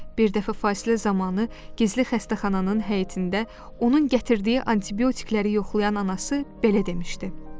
Bir dəfə fasilə zamanı gizli xəstəxananın həyətində onun gətirdiyi antibiotikləri yoxlayan anası belə demişdi.